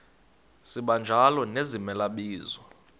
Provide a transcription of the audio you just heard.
sibanjalo nezimela bizo